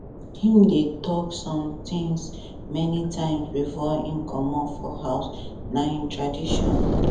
him dey talk some things many times before him commot for house na him tradition